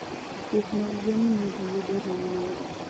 Pith mag gwen miyo ji yudo ring'o mayot.